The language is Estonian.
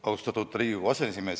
Austatud Riigikogu aseesimees!